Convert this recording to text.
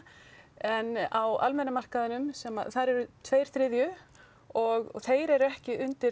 en á almenna markaðnum sem að þar eru tveir þriðju og þeir eru ekki undir